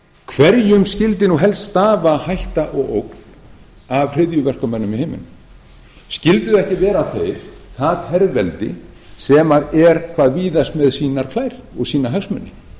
hverjum skyldi nú helst stafa hætta og ógn af hryðjuverkamönnum í heiminum skyldi það ekki vera það herveldi sem er hvað víðast með sínar klær og sína hagsmuni